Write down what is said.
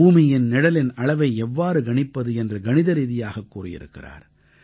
பூமியின் நிழலின் அளவை எவ்வாறு கணிப்பது என்று கணிதரீதியாகக் கூறியிருக்கிறார்